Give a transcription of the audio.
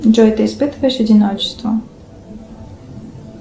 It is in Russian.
джой ты испытываешь одиночество